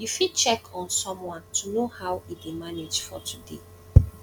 you fit check on someone to know how e dey manage for today